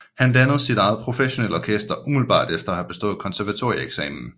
Han dannede sit eget professionelle orkester umiddelbart efter bestået konservatorieeksamen